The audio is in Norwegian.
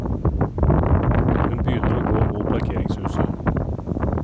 Hun begynner å gå mot parkeringshuset.